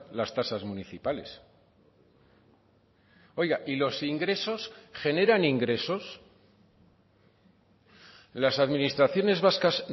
las tasas municipales oiga y los ingresos generan ingresos las administraciones vascas